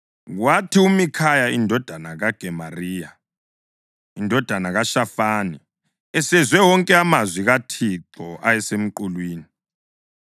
Kwathi uMikhaya indodana kaGemariya, indodana kaShafani, esezwe wonke amazwi kaThixo ayesemqulwini,